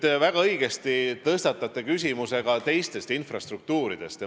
Te väga õigesti tõstatasite teiste infrastruktuuride küsimuse.